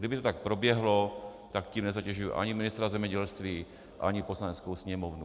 Kdyby to tak proběhlo, tak tím nezatěžuji ani ministra zemědělství ani Poslaneckou sněmovnu.